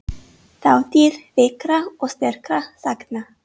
Þátíð veikra og sterkra sagna.